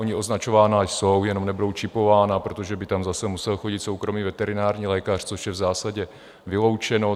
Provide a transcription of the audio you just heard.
Ona označována jsou, jenom nebudou čipována, protože by tam zase musel chodit soukromý veterinární lékař, což je v zásadě vyloučeno.